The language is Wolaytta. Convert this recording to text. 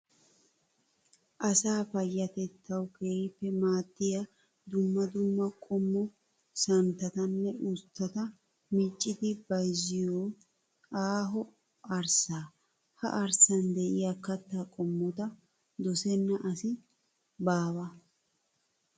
Asa paayyatettawu keehippe maaddiya dumma dumma qommo santtatanne usttata miccidi bayizziyoo aaho arssaa. Ha arssan diyaa kattaa qommota dosenna asi baawa.